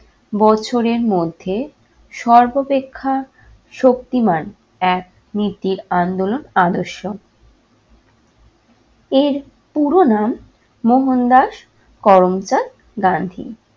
বছরের মধ্যে সর্বপেক্ষা শক্তিমান এক নীতির আন্দোলন আদর্শ। এর পুরো নাম মোহনদাস করমচাঁদ গান্ধী।